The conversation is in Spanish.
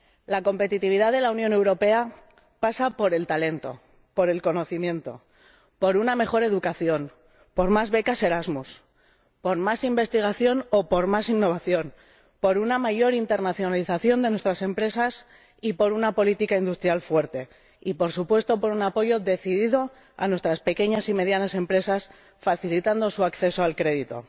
La competitividad de la Unión Europea pasa por el talento, por el conocimiento, por una mejor educación, por más becas Erasmus, por más investigación o por más innovación, por una mayor internacionalización de nuestras empresas y por una política industrial fuerte y, por supuesto, por un apoyo decidido a nuestras pequeñas y medianas empresas, facilitando su acceso al crédito.